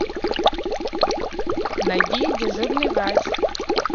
найди дежурный врач